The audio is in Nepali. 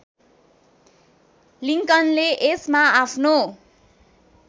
लिङ्कनले यसमा आफ्नो